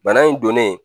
Bana in donnen